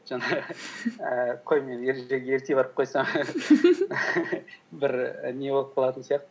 жаңағы ііі қой мен ержүрек ерте барып қойсам бір не болып қалатын сияқты